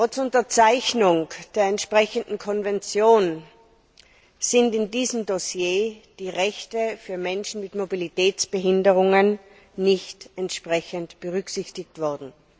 Trotz Unterzeichnung der entsprechenden Konvention sind in diesem Dossier die Rechte für Menschen mit Mobilitätsbehinderungen nicht berücksichtigt worden.